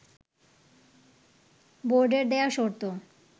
বোর্ডের দেয়া শর্ত